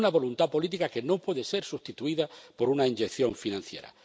una voluntad política que no puede ser sustituida por una inyección financiera.